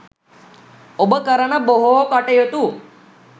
ඔබ කරන බොහෝ කටයුතු